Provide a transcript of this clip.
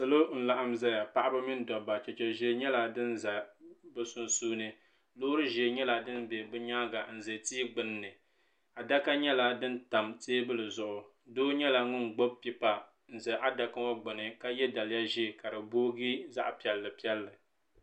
Salo n laɣim zaya paɣaba mini dabba cheche ʒee nyɛla din za bi sunsuuni loori ʒee nyɛla din bɛ bi nyaanga n za tia gbunni adaka nyɛla din tam teebuli zuɣu doo nyɛla ŋun gbubi pipa n za adaka ŋɔ gbuni ka yɛ daliya ʒee ka di booyi zaɣa piɛlli piɛlli.